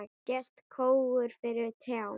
Sést skógur fyrir trjám?